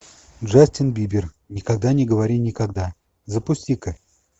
джастин бибер никогда не говори никогда запусти ка